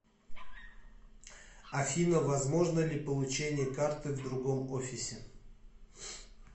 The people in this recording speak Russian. афина возможно ли получение карты в другом офисе